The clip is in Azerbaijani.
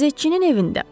Qəzetçinin evində.